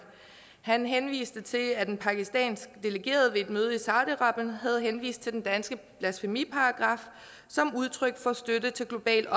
han henviste til at den pakistan ved et møde i saudi arabien havde henvist til den danske blasfemiparagraf som udtryk for støtte til global